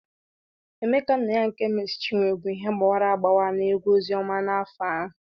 Omekannaya nke Meesi Chinwo bụ ihe gbawara agbawa na egwu ozioma n'afọ ahụ.